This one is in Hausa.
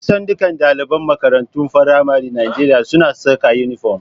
Kusan dukkan ɗaliban makarantun faramaren Najeriya suna saka inifom